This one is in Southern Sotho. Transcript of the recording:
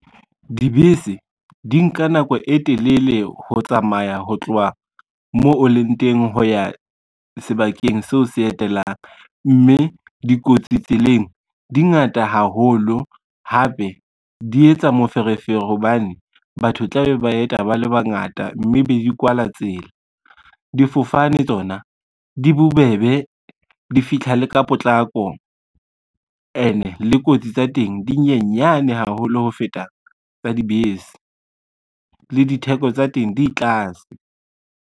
Dibese di nka nako e telele ho tsamaya ho tloha moo o leng teng ho ya sebakeng seo se etelang, mme dikotsi tseleng di ngata haholo, hape di etsa moferefere hobane batho tla be ba yeta ba le bangata, mme be di kwala tsela. Difofane tsona di bobebe, di fitlha le ka ka potlako ene le kotsi tsa teng di nyenyane haholo ho feta tsa dibese le ditheko tsa teng di tlase.